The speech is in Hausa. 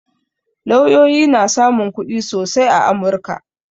Lauyoyi na samun kuɗi sosai a amurka